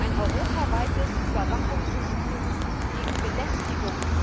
ein europaweites Überwachungssystem gegen Belästigung.